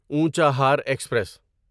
Unchahar express